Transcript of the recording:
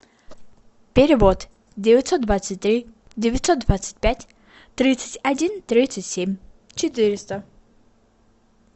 перевод девятьсот двадцать три девятьсот двадцать пять тридцать один тридцать семь четыреста